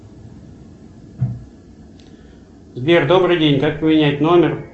сбер добрый день как поменять номер